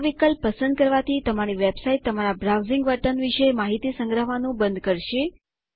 આ વિકલ્પ પસંદ કરવાથી તમારી વેબસાઇટ્સ તમારા બ્રાઉઝિંગ વર્તન વિશે માહિતી સંગ્રહવાનું બંધ કરશે